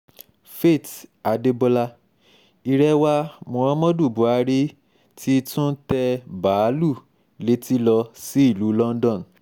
faith adébọlá irè wa muhammadu buhari ti tún tẹ báàlúù létí lọ sí ìlú london